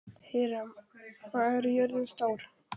Híram, hvað er jörðin stór?